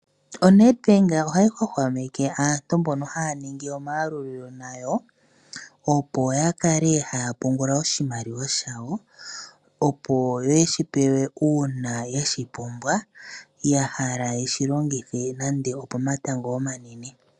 ONedbank ohayi hwahwameke aantu mbono haya ningi omayalulilo nayo opo yakale haya pungula oshimaliwa shawo, opo yeshipewe uuna yeshipumbwa, yahala yeshilongithe nande opomatango omanene.